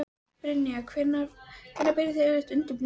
Brynja: Hvenær byrjið þið yfirleitt undirbúninginn?